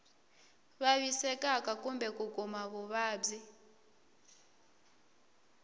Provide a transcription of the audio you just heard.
vavisekaka kumbe ku kuma vuvabyi